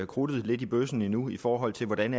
krudtet i bøssen lidt endnu i forhold til hvordan